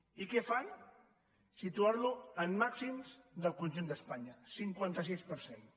i què fan situar lo en màxims del conjunt d’espanya cinquanta sis per cent